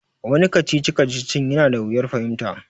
Wani kacici-kacicin ya na da wuyar fahimta